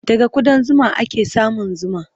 Daga kuɗan zuma ake samun zuma.